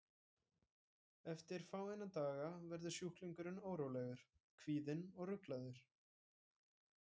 Eftir fáeina daga verður sjúklingurinn órólegur, kvíðinn og ruglaður.